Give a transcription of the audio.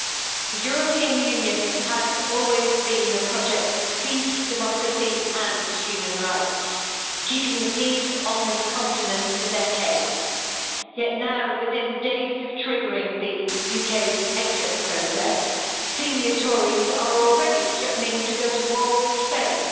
Madam President, the European Union has always been a project of peace, democracy and human rights, keeping the peace on this continent for decades, yet now, within days of triggering the UK's exit process, senior Tories are already threatening to go to war with Spain.